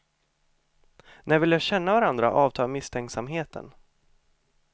När vi lär känna varandra avtar misstänksamheten.